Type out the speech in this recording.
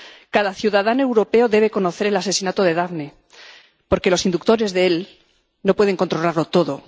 Cada ciudadano europeo debe conocer el asesinato de Daphne, porque sus inductores no pueden controlarlo todo.